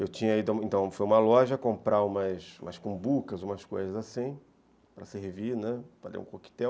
Eu tinha ido a uma loja comprar umas cumbucas, umas coisas assim, para servir, né, fazer um coquetel.